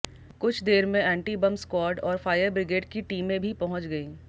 कुछ देर में एंटी बम स्क्वाड और फायर बिग्रेड की टीमें भी पहुंच गईं